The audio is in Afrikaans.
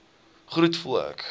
groet voel ek